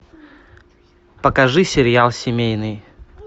покажи сериал семейный